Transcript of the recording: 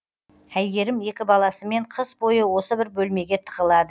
әйгерім екі баласымен қыс бойы осы бір бөлмеге тығылады